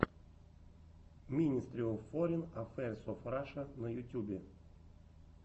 минестри оф форин аффэйрс оф раша на ютюбе